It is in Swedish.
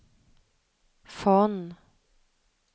Von